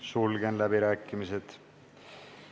Sulgen läbirääkimised.